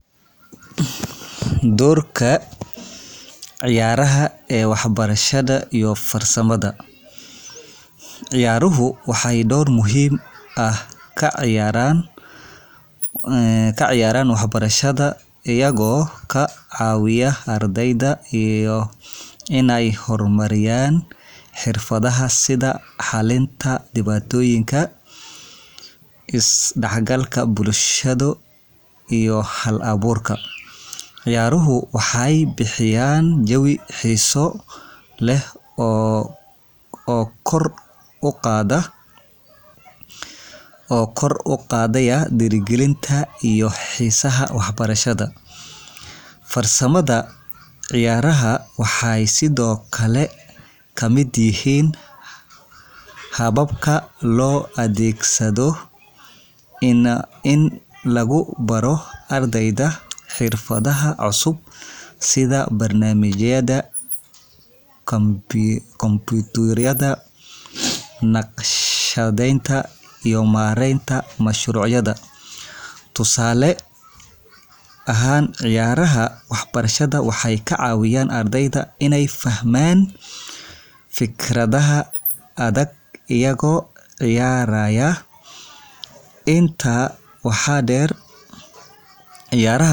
Ciyaaruhu waxay door muhiim ah ka ciyaaraan waxbarashada iyagoo ka caawiya ardayda inay horumariyaan xirfadaha sida xallinta dhibaatooyinka, isdhexgalka bulsho, iyo hal-abuurka. Ciyaaruhu waxay bixiyaan jawi xiiso leh oo kor u qaadaya dhiirigelinta iyo xiisaha waxbarashada. Farsamada, ciyaaraha waxay sidoo kale ka mid yihiin hababka loo adeegsado in lagu baro ardayda xirfadaha cusub, sida barnaamijyada kombiyuutarka, naqshadeynta, iyo maareynta mashruucyada. Tusaale ahaan, ciyaaraha waxbarashada waxay ka caawiyaan ardayda inay fahmaan fikradaha adag iyagoo ciyaaraya. Intaa waxaa dheer, ciyaaraha waxay kor u qaadaan awoodda.